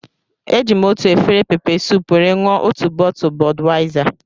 Eji m otu efere peppersoup were ṅụọ otu bọtụlu Bọdwaizar